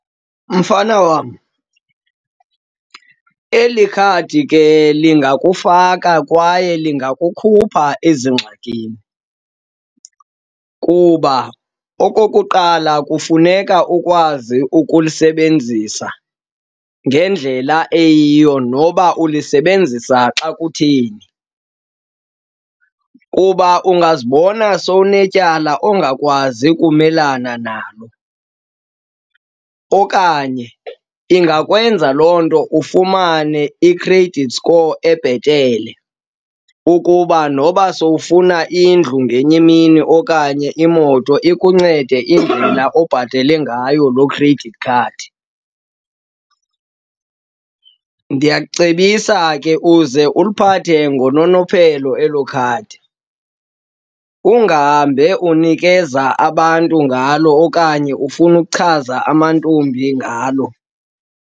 Mfana wam, eli khadi ke lingakufaka kwaye lingakukhupha ezingxakini kuba okokuqala, kufuneka ukwazi ukulisebenzisa ngendlela eyiyo noba ulisebenzisa xa kutheni. Kuba ungazibona sowunetyala ongakwazi ukumelana nalo okanye ingakwenza loo nto ufumane i-credit score ebhetele ukuba noba sowufuna indlu ngenye imini okanye iimoto, ikuncede indlela obhatala ngayo loo credit card. Ndiyakucebisa ke uze uliphathe ngononophelo elo khadi, ungahambe unikeza abantu ngalo okanye ufuna ukuchaza amantombi ngalo.